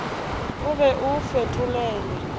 o be o o fetolele